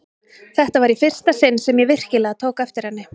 Þetta var í fyrsta sinn sem ég virkilega tók eftir henni.